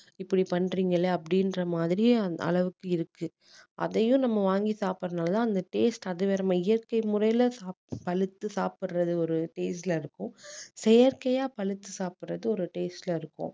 இப்படி பண்றீங்களே அப்படீன்ற மாதிரி அந்த அளவுக்கு இருக்கு அதையும் நம்ம வாங்கி சாப்புடுறதுனால அந்த taste அது வேற நம்ம இயற்கை முறையில சாப்பிட்டு பழுத்து சாப்பிடுறது ஒரு taste ல இருக்கும் செயற்கையா பழுத்து சாப்பிடுறது ஒரு taste ல இருக்கும்